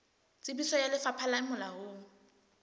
tsebiso ya lefapha le molaong